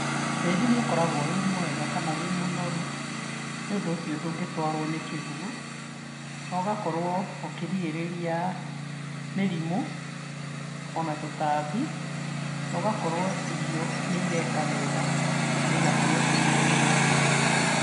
Tĩri nĩ ũkoragwo wĩ mwega kana wĩ mũnoru, nĩũndũ ũcio ndũngĩtwarwo nĩ kĩguũ, nogakorwo ukĩrigĩrĩria mĩrimũ, ona tũtambi, nogakorwo irio nĩ ireka wega na igakorwo ciĩ na umithio.